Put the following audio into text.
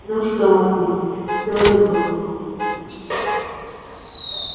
ну что максимыч всё ли благополучно